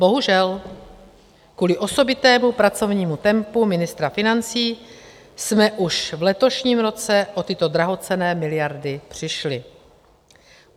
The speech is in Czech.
Bohužel kvůli osobitému pracovnímu tempu ministra financí jsme už v letošním roce o tyto drahocenné miliardy přišli.